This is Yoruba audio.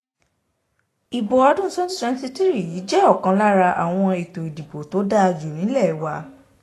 ibo ọdún twenty twenty-three yìí jẹ́ ọ̀kan lára àwọn ètò ìdìbò tó dáa jù nílẹ̀ wa